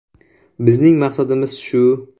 Bizning maqsadimiz shu.